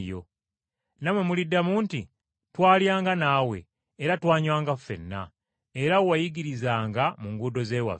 Nammwe muliddamu nti, ‘Twalyanga naawe era twanywanga ffenna, era wayigirizanga mu nguudo z’ewaffe.’